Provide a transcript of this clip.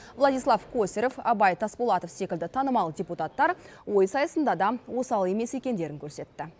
владислав косарев абай тасболатов секілді танымал депуттар ой сайысында да осал емес екендерін көрсетті